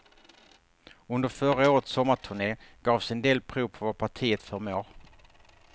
Under förra årets sommarturne gavs en del prov på vad partiet förmår.